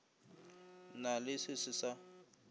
na le se se sa